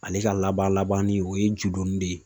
Ale ka laban labanni o ye judonni de ye